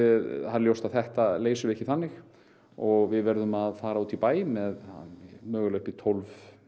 ljóst að þetta leysum við ekki þannig og við verðum að fara út í bæ með upp í tólf